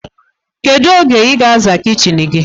Kedu oge iga aza kichin gi?